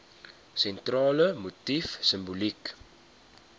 sentrale motief simboliek